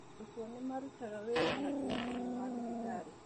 Arutwo nĩ marutaga wĩra na kĩyo thĩinĩ wa Thibitarĩ